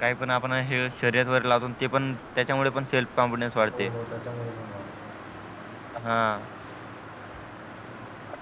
काही पण आपण शर्यत वैगरे लावतो त्याच्या मुळे पण self confidence वाढते हो हो त्याच्या मुळे पण वाढते हा